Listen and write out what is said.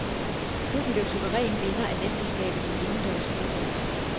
Klubben blev suveræn vinder af mesterskabet i indendørs fodbold.